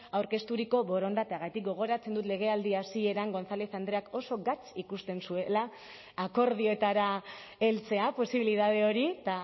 aurkezturiko borondateagatik gogoratzen dut legealdi hasieran gonzález andreak oso gatz ikusten zuela akordioetara heltzea posibilitate hori eta